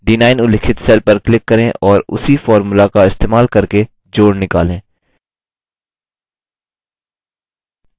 d9 उल्लिखित cell पर click करें और उसी formula का इस्तेमाल करके जोड़ निकालें